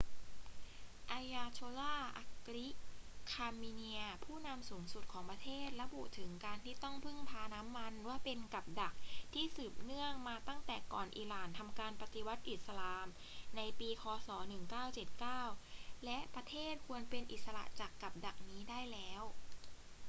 ayatollah ali khamenei ผู้นำสูงสุดของประเทศระบุถึงการที่ต้องพึ่งพาน้ำมันว่าเป็น กับดัก ที่สืบเนื่องมาตั้งแต่ก่อนอิหร่านทำการปฏิวัติอิสลามในปีค ศ. 1979 และประเทศควรเป็นอิสระจากกับดักนี้ได้แล้ว